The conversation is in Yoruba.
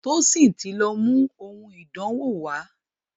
Tosin tí lọ mú òun ìdánwò wá.